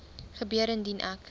gebeur indien ek